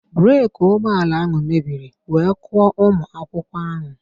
Breeki ụgbọala ahụ mebiri wee kụọ ụmụ akwụkwọ ahụ